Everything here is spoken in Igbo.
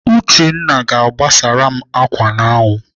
Uchenna ga-agbasara m ákwà n'anwụ.